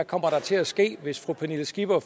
kommer til at ske hvis fru pernille skipper